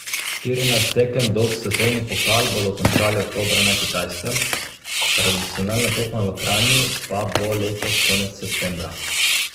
Štirinajst tekem dolg svetovni pokal bodo končali oktobra na Kitajskem, tradicionalna tekma v Kranju pa bo letos konec septembra.